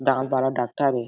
दाँत वाला डॉक्टर ए--